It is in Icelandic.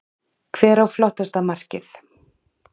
Hver á flottasta markið?